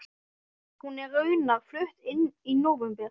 Hún er raunar flutt inn í nóvember.